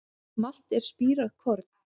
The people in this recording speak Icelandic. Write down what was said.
Malt er spírað korn.